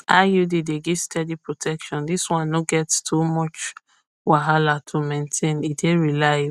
iud dey give steady protection this one no get to much wahala to maintain e dey reliable